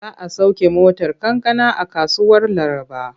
Za a sauke motar kankana a kasuwar Laraba.